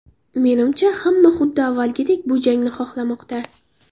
Menimcha, hamma xuddi avvalgidek bu jangni xohlamoqda.